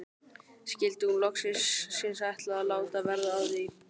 Skyldi hún loksins ætla að láta verða af því?